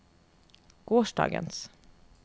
gårsdagens